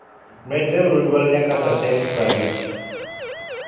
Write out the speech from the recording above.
medreuru duol nyaka pasent 50